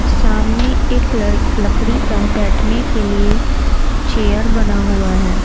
सामने एक लड़ लकड़ी का बैठने के लिए चेयर बना हुआ है।